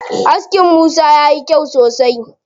Askin Musa yayi kyau sosai.